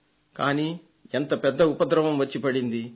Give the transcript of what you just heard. కానీ ఎంత పెద్ద ప్రతిస్పందన